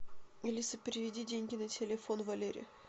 алиса переведи деньги на телефон валере